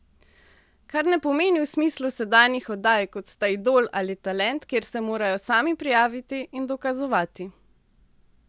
Kar ne pomeni v smislu sedanjih oddaj, kot sta Idol ali Talent, kjer se morajo sami prijaviti in dokazovati.